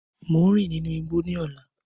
Mo n rin ninu igbó ni ọlá.